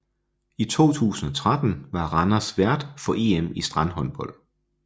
I 2013 var Randers vært for EM i strandhåndbold